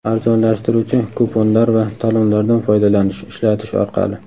arzonlashtiruvchi kuponlar va talonlardan foydalanish (ishlatish) orqali;.